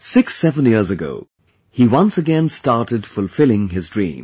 67 years ago he once again started fulfilling his dream